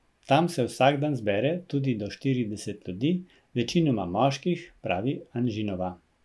Tam se vsak dan zbere tudi do štirideset ljudi, večinoma moških, pravi Anžinova.